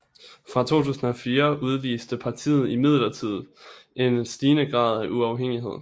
Fra 2004 udviste partiet imidlertid en stigende grad af uafhængighed